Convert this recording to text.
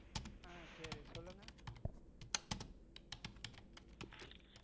ஆஹ் சரி சொல்லுங்க.